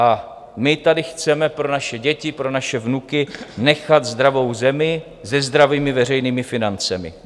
A my tady chceme pro naše děti, pro naše vnuky nechat zdravou zemi se zdravými veřejnými financemi.